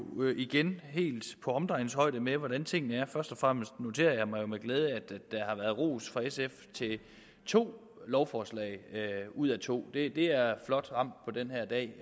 igen er helt på omdrejningshøjde med hvordan tingene er først og fremmest noterer jeg mig jo med glæde at der har været ros fra sf til to lovforslag ud af to det er flot ramt på den her dag